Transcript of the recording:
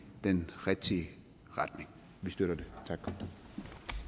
den rigtige retning vi støtter det